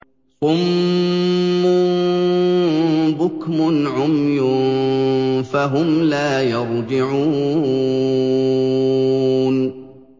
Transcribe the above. صُمٌّ بُكْمٌ عُمْيٌ فَهُمْ لَا يَرْجِعُونَ